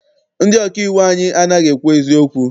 Ndị ọkà iwu anyị anaghị ekwu eziokwu.